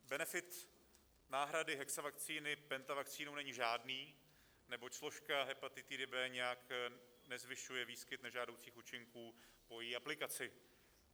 Benefit náhrady hexavakcíny pentavakcínou není žádný, neboť složka hepatitidy B nijak nezvyšuje výskyt nežádoucích účinků po její aplikaci.